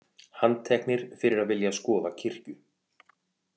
Handteknir fyrir að vilja skoða kirkju